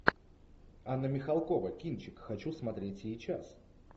анна михалкова кинчик хочу смотреть сейчас